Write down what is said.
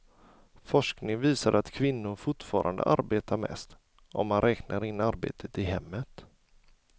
Forskning visar att kvinnor fortfarande arbetar mest, om man räknar in arbetet i hemmet.